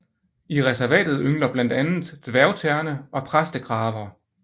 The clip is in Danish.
I reservatet yngler blandt andet dværgterne og præstekraver